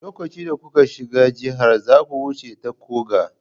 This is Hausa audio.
Lokacin da kuka shiga jiha, zaku wuce ta koga.